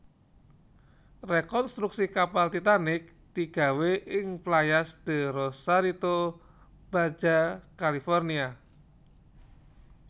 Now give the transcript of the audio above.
Rekontruksi kapal Titanic digawé ing Playas de Rosarito Baja California